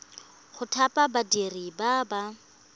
go thapa badiri ba ba